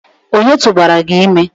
Ònye tụbara gị ime?